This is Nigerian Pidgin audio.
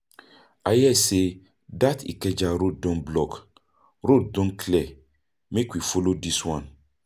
I hear sey dat Ikeja road don clear, road don clear, make we follow dis one.